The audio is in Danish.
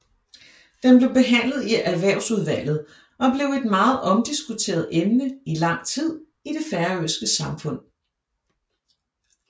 Den blev behandlet i Erhvervsudvalget og blev et meget omdiskuteret emne i lang tid i det færøske samfund